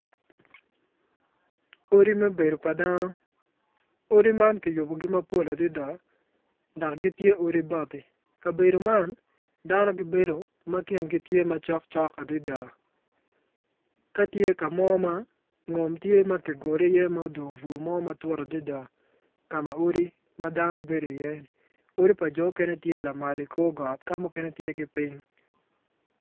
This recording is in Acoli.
Odi me bedo pa dano odi man kiyubogi mapol adada dok gitye odi bati kabedo man dano gibedo ma kingi tye macok adada ka tye ka mo ma ngom ogole iye ka odong bur mo matut adada.